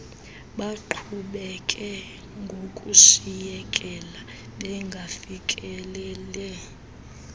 baqhubekeka ngokushiyekela bengafikeleli